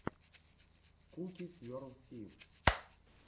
куки сверл си